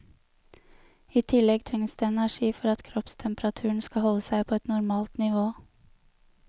I tillegg trengs det energi for at kroppstemperaturen skal holde seg på et normalt nivå.